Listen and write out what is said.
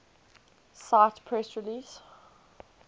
cite press release